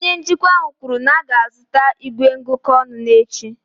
Onye njikwa ahụ kwuru na a ga-azụta igwe ngụkọ ọnụ n'echi